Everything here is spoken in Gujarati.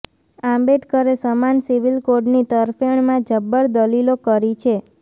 આંબેડકરે સમાન સિવિલ કોડની તરફેણમાં જબ્બર દલીલો કરી છે